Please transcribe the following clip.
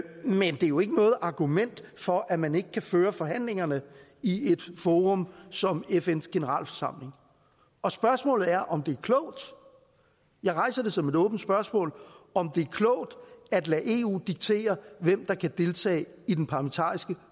er jo ikke noget argument for at man ikke kan føre forhandlingerne i et forum som fns generalforsamling og spørgsmålet er om det er klogt jeg rejser det som et åbent spørgsmål om det er klogt at lade eu diktere hvem der kan deltage i den parlamentariske